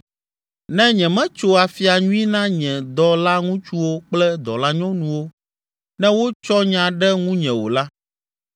“Ne nyemetso afia nyui na nye dɔlaŋutsuwo kple dɔlanyɔnuwo ne wotsɔ nya ɖe ŋunye o la,